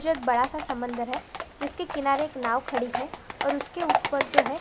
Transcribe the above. जो एक बड़ा सा समुंदर है जिसके किनारे एक नाव खड़ी है और उसके उपर जो है--